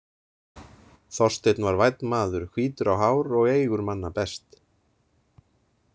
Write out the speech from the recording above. Þorsteinn var vænn maður, hvítur á hár og eygur manna best.